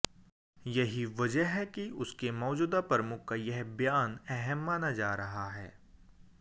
यही वजह है कि उसके मौजूदा प्रमुख का यह बयान अहम माना जा रहा है